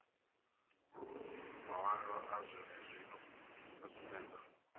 mawalo a zwenezwino a sumbedza